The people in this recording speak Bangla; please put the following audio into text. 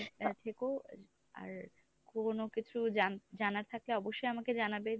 থেকো আর কোনো কিছু জান জানার থাকলে অবশ্যই আমাকে জানাবে।